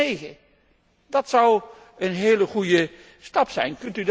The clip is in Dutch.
2009? Dat zou een heel goede stap zijn.